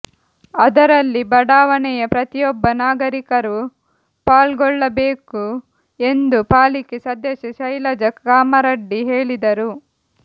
ಅದರಲ್ಲಿ ಬಡಾವಣೆಯ ಪ್ರತಿಯೊಬ್ಬ ನಾಗರಿಕರರು ಪಾಲ್ಗೊಳ್ಳಬೇಕು ಎಂದು ಪಾಲಿಕೆ ಸದಸ್ಯೆ ಶೈಲಜಾ ಕಾಮರಡ್ಡಿ ಹೇಳಿದರು